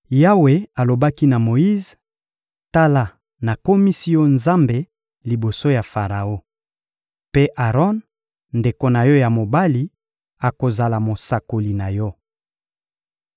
Yawe alobaki na Moyize: «Tala, nakomisi yo nzambe liboso ya Faraon, mpe Aron, ndeko na yo ya mobali, akozala mosakoli na yo.